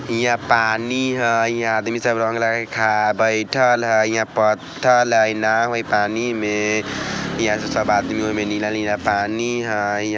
ईहा पानी है ईहा आदमी सब रंग लगा कर खड़ा बैठेल हय ईहा पत्थर है नाव है पानी में ईहा से सब आदमी ओमे नीला- नीला पानी हय।